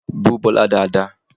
Bú Bọlá dáadáa!